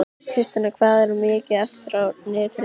Tristana, hvað er mikið eftir af niðurteljaranum?